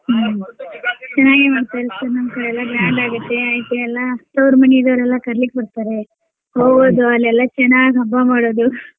ಹ್ಮ್ ಚೆನ್ನಾಗೆ ಮಾಡ್ತಾರೆ sir ನಮ್ ಕಡೆ ಎಲ್ಲಾ grand ಆಗುತ್ತೆ ಐತೆ ಎಲ್ಲಾ ತೌರ್ ಮನಿದೋರೆಲ್ಲಾ ಕರಿಲಿಕ್ಕ್ ಬರ್ತಾರೆ ಅಲ್ಲೆಲ್ಲ ಚೆನ್ನಾಗ್ ಹಬ್ಬ ಮಾಡೋದು.